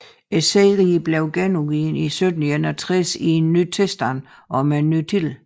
Serien blev genudgivet i 1761 i en ny tilstand og med en ny titel